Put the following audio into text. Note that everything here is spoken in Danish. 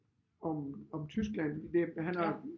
Om om Tyskland det han har